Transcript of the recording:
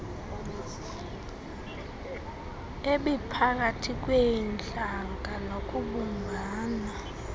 ebiphakathi kweentlanga nokubumbana